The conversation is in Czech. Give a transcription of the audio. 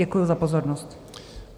Děkuju za pozornost.